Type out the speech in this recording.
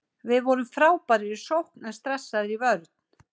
Við vorum frábærir í sókn en stressaðir í vörn.